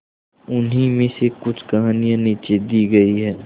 उन्हीं में से कुछ कहानियां नीचे दी गई है